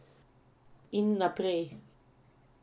In naprej.